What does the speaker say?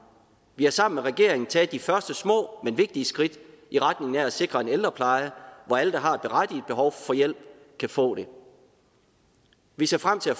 vi har sammen med regeringen taget de første små men vigtige skridt i retning af at sikre en ældrepleje hvor alle der har et berettiget behov for hjælp kan få det vi ser frem til at